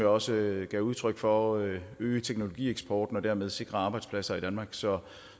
også gav udtryk for øge øge teknologieksporten og dermed sikre arbejdspladser i danmark så